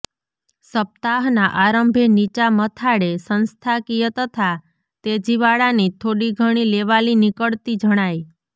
સપ્તાહના આરંભે નીચા મથાળે સંસ્થાકીય તથા તેજીવાળાની થોડીઘણી લેવાલી નીકળતી જણાય